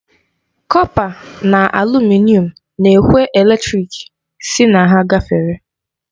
Kọpa na alumịnịọn na-ekwe eletrik sị na ha gafere.